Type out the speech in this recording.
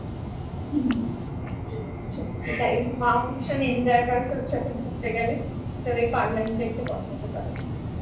সত্যি তাই জন্য মা ও ভীষণ enjoy করে তোর সাথে ঘুরতে গেলে তবে এই পাগলামি দেখতে পছন্দ করে